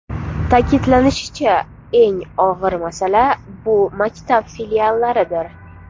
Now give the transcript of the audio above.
Ta’kidlanishicha, eng og‘ir masala bu maktab filiallaridir.